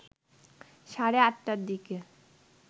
সাড়ে ৮টার দিকে